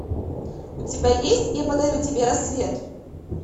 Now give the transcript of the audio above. у тебя есть я подарю тебе рассвет